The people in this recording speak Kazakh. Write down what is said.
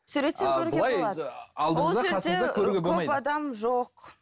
суреттен көруге болады